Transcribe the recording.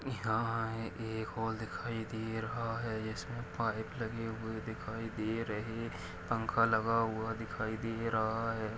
यहा एक हॉल दिखाई दे रहा है इसमे पाइप लगे हुए दिखाई दे रहे पंखा लगा हुआ दिखाई दे रहा है।